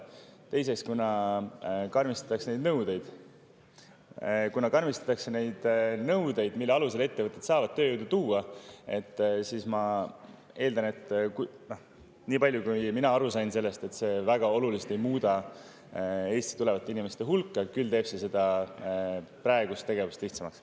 Teiseks, kuna karmistatakse neid nõudeid, mille alusel ettevõtted saavad tööjõudu tuua, siis ma eeldan, niipalju kui mina aru sain sellest, et see väga oluliselt ei muuda Eestisse tulevate inimeste hulka, küll aga teeb seda praegust tegevust lihtsamaks.